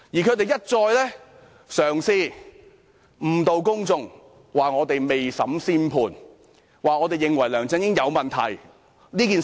他們一再嘗試誤導公眾，說我們未審先判，說我們認為梁振英有問題。